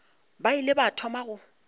ba ile ba thoma go